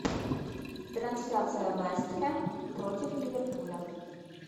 трансляция вест хэм против ливерпуля